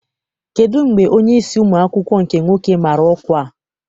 Kedụ mgbe onyeisi ụmụ akwụkwọ nke nwoke mara ọkwa a?